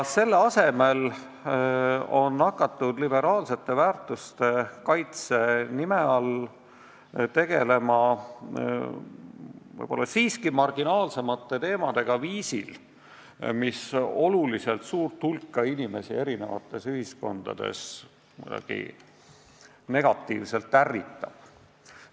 Selle asemel on hakatud liberaalsete väärtuste kaitse nime all tegelema võib-olla marginaalsemate teemadega viisil, mis suurt hulka inimesi eri ühiskondades kuidagi ärritab.